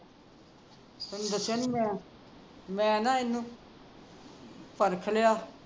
ਤੈਨੂੰ ਦੱਸਿਆ ਨੀ ਮੈਂ ਮੈਂ ਨਾ ਇਹਨੂੰ ਪਰਖ ਲਿਆ